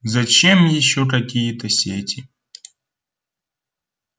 зачем ещё какие-то сети